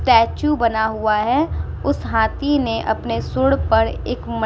टैचु बना हुआ है। उस हाथी ने अपने सूंड़ पर एक म् --